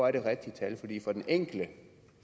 er det rigtige tal for den enkelte